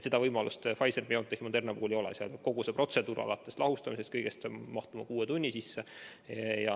Seda võimalust Pfizer-BioNTechi ja Moderna puhul ei ole, nende puhul peab kogu protseduur alates lahustamisest mahtuma kuue tunni sisse.